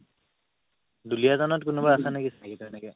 দুলীয়াজানত কোনোবা আছে নেকি চিনাকী তেনেকে